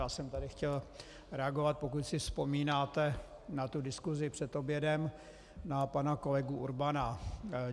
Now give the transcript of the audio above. Já jsem tady chtěl reagovat, pokud si vzpomínáte na tu diskusi před obědem, na pana kolegu Urbana.